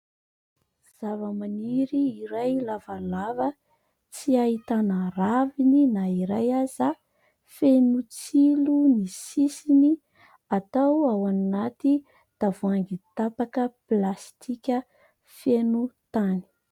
Zavamaniry iray lavalava tsy ahitana raviny na iray aza, feno tsilo ny sisiny atao ao anaty tavoahangy tapaka plastika feno tany.